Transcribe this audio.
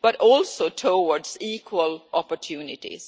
but also towards equal opportunities.